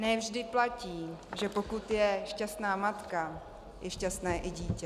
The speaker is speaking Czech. Ne vždy platí, že pokud je šťastná matka, je šťastné i dítě.